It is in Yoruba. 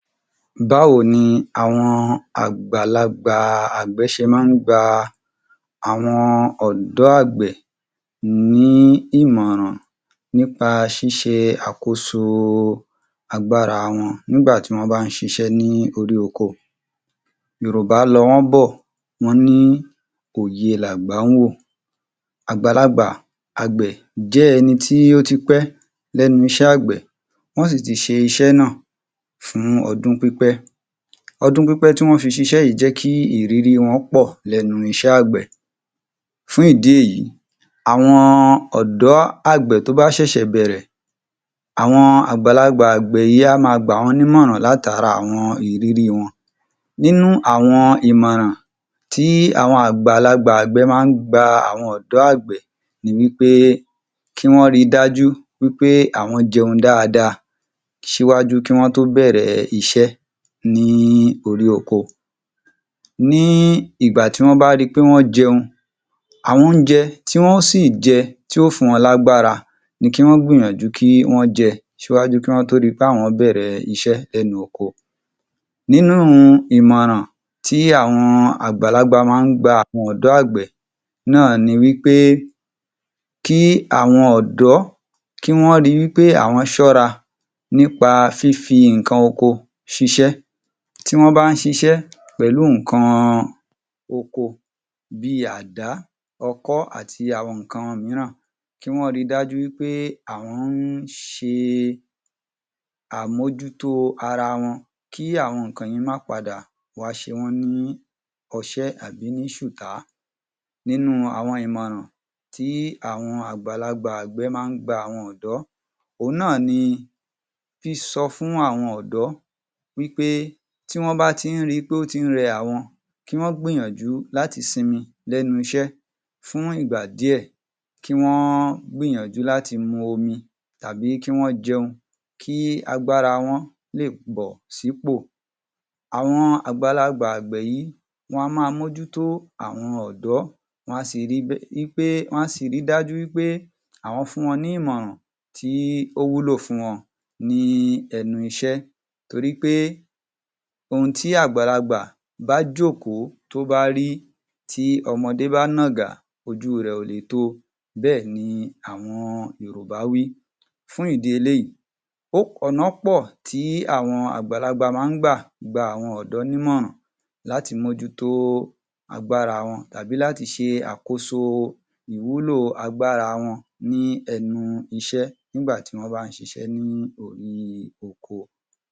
Báwo ni àwọn àgbàlagbà àgbẹ̀ ṣe máa ń gba àwọn ọ̀dọ́ àgbẹ̀ ní ìmọ̀ràn nípa ṣíṣe àkoso agbára wọn nígbà tí wọ́n bá ṣiṣẹ́ ní orí oko? Yorùbá lọ, wọ́n bọ̀, wọ́n ní òye làgbà ń wò. Àgbàlagbà àgbẹ̀ jẹ́ ẹni tí ó ti pẹ́ lẹ́nu iṣẹ́ àgbẹ̀, wọ́n si ti ṣe iṣẹ́ náà fún ọdún pípẹ́, ọdún pípẹ́ tí wọ́n fi ṣiṣẹ́ yìí jẹ́ kí ìrírí wọn pọ̀ lẹ́nu iṣẹ́ àgbẹ̀. Fún ìdí èyí, àwọn ọ̀dọ́ àgbẹ̀ tó bá ṣẹ̀ṣẹ̀ bẹ̀rẹ̀, àwọn àgbàlàgbà àgbẹ̀ yìí á máa gbà wọ́n ní ìmọ̀ràn látara àwọn ìrírí wọn, nínú àwọn ìmọ̀ràn tí àwọn àgbẹ̀ máa ń gba àwọn ọ̀dọ́ àgbẹ̀ ni wí pé kí wọ́n ri dájú wí pé àwọn jẹun dáadáa ṣíwájú kí wọ́n tó bẹ̀rẹ̀ iṣẹ́ ní orí oko, ní ìgbà tí wọ́n bá ri pé wọ́n jẹun, àwọn oúnjẹ tí wọ́ sì jẹ tí yóò fún wọn ní àgbara ni kí wọ́n gbìyànjú kí wọ́n jẹ ṣíwájú kí wọ́n to ri pé àwọn bẹ̀ẹ̀rẹ̀ iṣẹ́ nínú oko, nínú ìmọ̀ràn tí àwọn àgbàlàgbà máa ń gba àwọn ọ̀dọ́ àgbẹ̀ náà ni wí pé kí àwọn ọ̀dọ́, kí wọ́n ri wí pé àwọn ṣọ́ra nípa fífí nǹkan oko ṣiṣẹ́, tí wọ́n báa ń ṣiṣẹ́ pẹ̀lú ǹnkan oko bí i àdá, ọkọ́ àti àwọn nǹkan mìíràn, kí wọ́n ri dájú pé àwọn ṣe àmójútó ara wọn kí àwọn nǹkan yìí máa padà wá ṣe wọ́n ní ọṣẹ́ àbí ní ṣùtá. Nínú àwọn ìmọ̀ràn tí àwọn àgbàlagbà àgbẹ̀ máa ń gba àwọn ọ̀dọ́ òun náà ni sísọ fún àwọn ọ̀dọ́ wí pé tí wọ́n bá ti ri pé ó ti ń rẹ àwọn, kí wọ́n gbìyànjú láti simi lẹ́nu iṣẹ́ fún ìgbà díẹ̀, kí wọ́n gbìyànjú láti mu omi tàbí kí wọ́n jẹun kí àgbára wọn lè bọ́ sípò. Àwọn àgbàlagbà àgbẹ̀ yìí, wọ́n a máa mójútó àwọn ọ̀dọ́, wọn a si ri wí pé, wọn a si ri dájú wí pé àwọn fún wọn ní ìmọ̀ràn tí ó wúlò fún wọn ní ẹnu iṣẹ torí pé 'ohun tí àgbàlagbà bá jókòó tó bá rí, tí ọmọdé bá nàgà, ojú rẹ̀ ò lè to' bẹ́ẹ̀ ni àwọn Yorùbá wí. Fún ìdí eléyìí, ọ̀nà pọ̀ tí àwọn àgbàlagbà máa ń gbà gba àwọn ọ̀dọ́ nímọ̀ràn láti mójútó agbára wọn tàbí láti ṣe àkoso ìwúlò agbára wọn ní ẹnu iṣẹ́, nígbà tí wọ́n bá ń ṣiṣẹ́ ní orí oko.